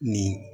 Nin